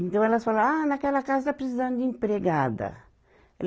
Então, elas falavam, ah, naquela casa está precisando de empregada.